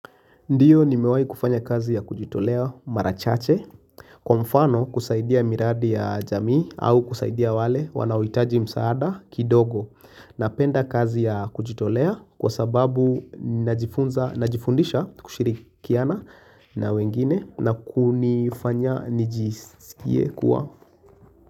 Ndiyo nimewahi kufanya kazi ya kujitolea mara chache Kwa mfano kusaidia miradi ya jamii au kusaidia wale wanaohitaji msaada kidogo Napenda kazi ya kujitolea kwa sababu najifunza najifundisha kushirikiana na wengine na kunifanya nijisikie kuwa.